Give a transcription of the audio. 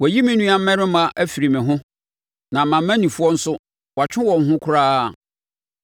“Wayi me nuammarima afiri me ho; na mʼamanifoɔ nso, watwe wɔn ho koraa.